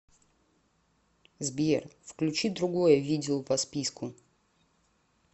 сбер включи другое видео по списку